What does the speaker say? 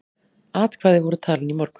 Atkvæði voru talin í morgun.